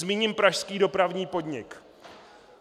Zmíním pražský Dopravní podnik.